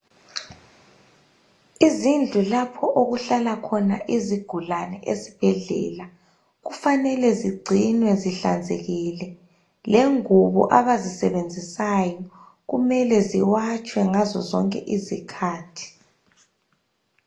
Izidlu lapho okuhlala khona izigulane esibhedlela kufanele zingcinwe zihlanzekile lengubo abazisebenzisayo kumele ziwatshwe ngazo zonke izikhathi.